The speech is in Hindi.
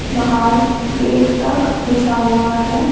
बाहर गेट तक बिछा हुआ है।